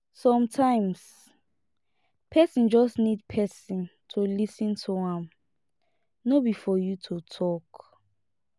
sometimes person just need person to lis ten to am no be for you to talk